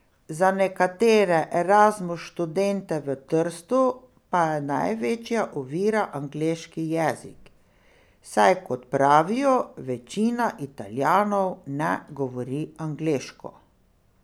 Za nekatere Erasmus študente v Trstu pa je največja ovira angleški jezik, saj, kot pravijo, večina Italijanov ne govori angleško.